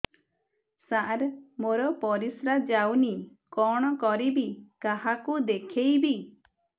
ସାର ମୋର ପରିସ୍ରା ଯାଉନି କଣ କରିବି କାହାକୁ ଦେଖେଇବି